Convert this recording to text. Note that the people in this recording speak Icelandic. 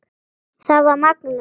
Það var magnað.